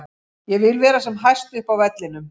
Ég vil vera sem hæst upp á vellinum.